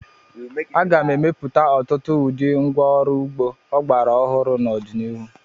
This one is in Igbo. A ga-emepụta ọtụtụ ụdị ngwa ọrụ ugbo ọgbara ọhụrụ n'ọdịnihu.